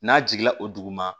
N'a jiginna o dugu ma